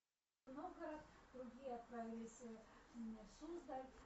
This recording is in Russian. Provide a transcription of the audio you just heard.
в новгород другие отправились в суздаль